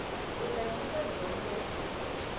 u ta nyika dyondzo ku